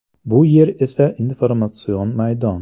Bu yer esa informatsion maydon.